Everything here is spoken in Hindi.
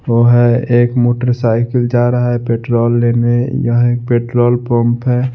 वो है एक मोटर साइकिल जा रहा है पेट्रोल लेने यह एक पेट्रोल पंप है।